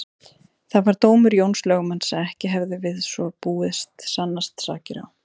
Það var dómur Jóns lögmanns að ekki hefðu við svo búið sannast sakir á